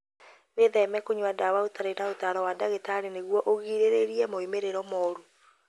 Wĩtheme kũnyua ndawa ũtarĩ na ũtaaro wa ndagĩtarĩ nĩguo ũgirĩrĩrie moimĩrĩro moru.